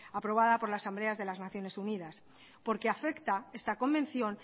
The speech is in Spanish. aprobada por las asambleas de las naciones unidas porque afecta esta convención